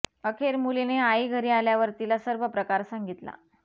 अखेर मुलीने आई घरी आल्यावर तिला सर्व प्रकार सांगितला